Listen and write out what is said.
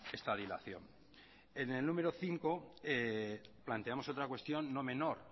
esta dilación en el número cinco planteamos otra cuestión no menor